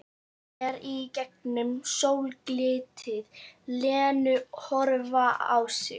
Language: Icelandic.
Sér í gegnum sólglitið Lenu horfa á sig.